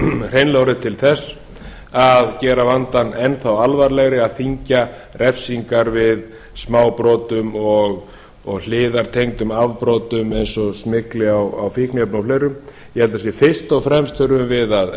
hreinlega orðið til þess að gera vandann enn alvarlegri að þyngja refsingar við smábrotum og hliðartengdum afbrotum eins og smygli á fíkniefnum og fleiru ég held að fyrst og fremst þurfum við að